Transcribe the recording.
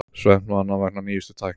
Svefnvana vegna nýjustu tækni